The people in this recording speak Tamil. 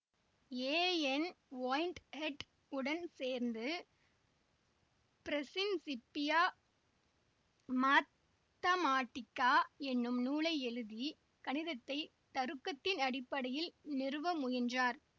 ஏ என் ஒயின்ட்ஹெட் உடன் சேர்ந்து பிரசின்சிப்பியா மாத்தமாட்டிக்கா என்னும் நூலை எழுதி கணிதத்தை தருக்கத்தின் அடிப்படையில் நிறுவ முயன்றார்